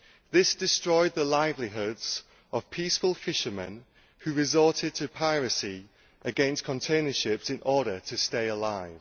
This has destroyed the livelihoods of peaceful fishermen, who resorted to piracy against container ships in order to stay alive.